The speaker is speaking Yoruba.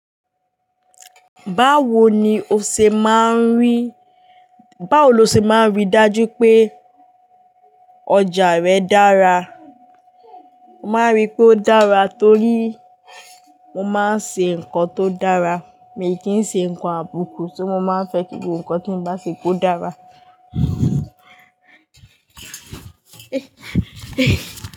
Báwo ni o ṣe máa ń rí, báwo lo ṣe máa ń ríi dájú pé ọjà rẹ dára? Mo máa ń rí i pé ó dára torí mo máa ń ṣe nǹkan tó dára. Mi kì í ṣe nǹkan àbùkù, ṣó mo máa ń fẹ́ kí gbogbo nǹkan tí n bá ṣe kó dára.